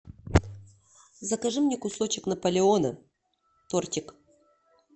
закажи мне кусочек наполеона тортик